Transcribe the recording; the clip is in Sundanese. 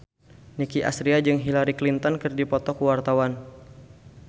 Nicky Astria jeung Hillary Clinton keur dipoto ku wartawan